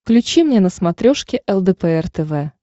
включи мне на смотрешке лдпр тв